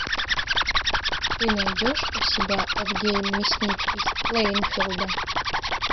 ты найдешь у себя эд гейн мясник из плэйнфилда